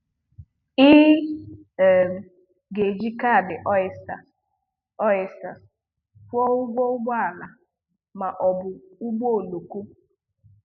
Ị um ga-eji kaadị Ọ̀ystèr Ọ̀ystèr kwụọ ụgwọ ụgbọala ma ọ bụ ụgbọoloko.